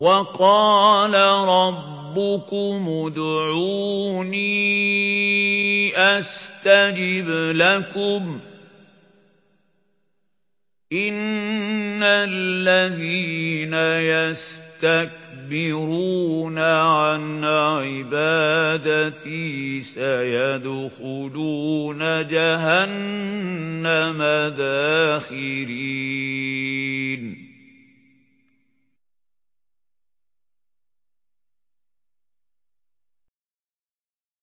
وَقَالَ رَبُّكُمُ ادْعُونِي أَسْتَجِبْ لَكُمْ ۚ إِنَّ الَّذِينَ يَسْتَكْبِرُونَ عَنْ عِبَادَتِي سَيَدْخُلُونَ جَهَنَّمَ دَاخِرِينَ